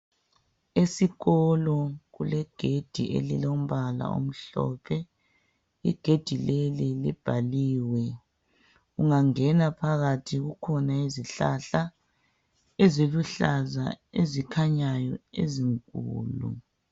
esikolo kulegedi elilombala omhlophe igedi leli libhaliwe ungangena phakathi kukhona izihlahla eziluhlaza ezikhanyayo ezinkulu